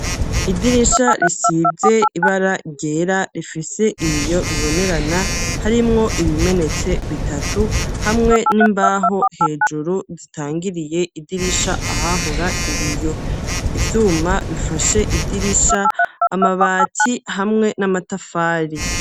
Idirisha risize ibara ryera rifise ibiyo bibonerana, harimwo ibimenetse bitatu hamwe n'imbaho hejuru zitangiriye idirisha ahahora ibiyo, ivyuma bifashe idirisha amabati hamwe n'amatafari.